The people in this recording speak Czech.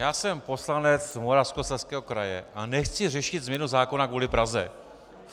Já jsem poslanec Moravskoslezského kraje a nechci řešit změnu zákona kvůli Praze.